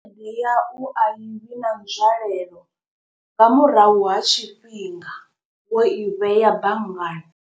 Ndi yau a i vhi na nzwalelo, nga murahu ha tshifhinga wo i vhea banngani.